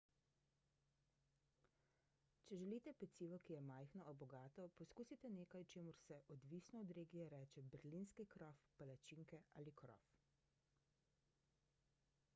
če želite pecivo ki je majhno a bogato poskusite nekaj čemur se odvisno od regije reče berlinski krof palačinke ali krof